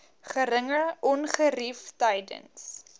geringe ongerief tydens